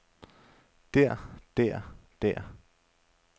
der der der